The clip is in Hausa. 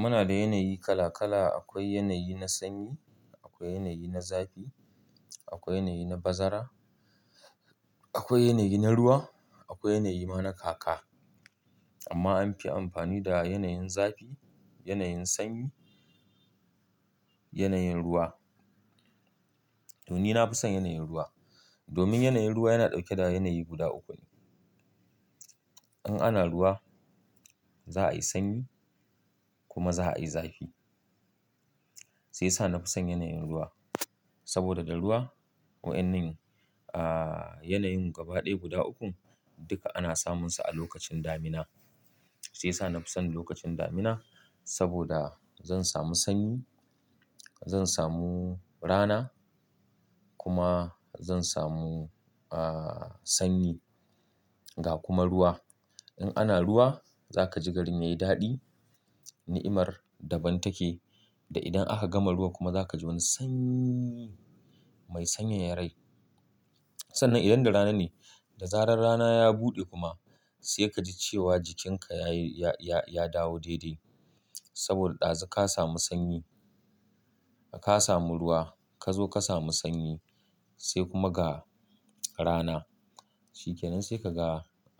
Muna da yanayi kala-kala. Akwai yanayi na sanyi, akwai yanayi na zafi, akwai yanayi na bazara, akwai yanayi na ruwa, akwai yanayi ma na kaka. Amma an fi amfani da yanayin zafi, yanayin sanyi, yanayin ruwa. To ni na fi son yanayin ruwa. Domin yanayin ruwa yana dauke da yanayi guda uku ne. In ana ruwa za a yi sanyi kuma za a yi zafi. Sai sa na fi son yanayin ruwa. Saboda da ruwa, wa'ennan, ahhh, yanayin gaba ɗaya guda ukun duka ana samunsa a lokacin damina. Shiya sa na fi son lokacin damina saboda zan samu sanyi, zan samu rana kuma zan samu, ahhh, sanyi ga kuma ruwa. In ana ruwa za ka ji garin yayi daɗi, ni'imar daban take da idan aka gama ruwa kuma za ka ji wani sanyi mai sanyaya rai. Sannan idan da rana ne, da zarar rana ya buɗe kuma sai ka ji cewa jikinka ya yi, ya, ya dawo daidai. Saboda ɗazu ka samu sanyi, ka samu ruwa ka zo ka samu sanyi sai kuma ga rana. Shikenan sai ka ga,